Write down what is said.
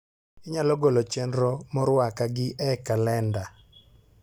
inyalo golo chenro moruaka gi e calenda